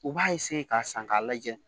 U b'a k'a san k'a lajɛ